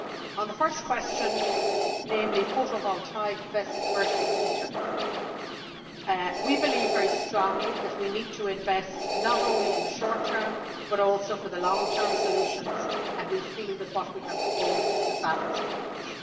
On the first question, namely photovoltaic versus ether, we believe very strongly that we need to invest, not only in the short term, but also for the long term solutions and we feel that what we have proposed is a balanced approach.